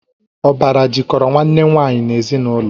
Ọbara jikọrọ Nwanne nwaanyị n'ezinụlọ